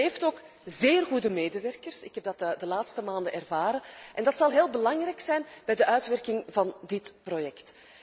Hij heeft ook zeer goede medewerkers ik heb dat de laatste maanden ervaren en dat zal heel belangrijk zijn bij de uitwerking van dit project.